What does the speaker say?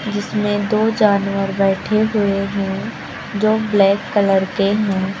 जिसमें दो जानवर बैठे हुए हैं जो ब्लैक कलर के हैं।